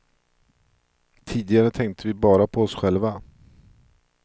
Tidigare tänkte vi bara på oss själva.